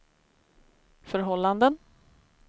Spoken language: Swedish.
förhållanden